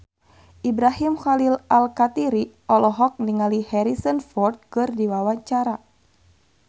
Ibrahim Khalil Alkatiri olohok ningali Harrison Ford keur diwawancara